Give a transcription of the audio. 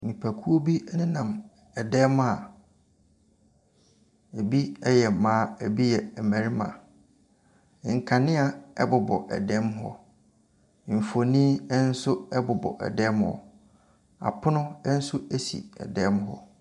Nipakuo bi nenam dan mu a ɛbi yɛ mmaa, ɛbi yɛ mmarima. Nkanea bobɔ dan mu hɔ. Mfonin nso bobɔ dan mu hɔ. Apono nso si dan mu hɔ.